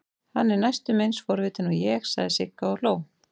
Hann er næstum eins forvitinn og ég, sagði Sigga og hló.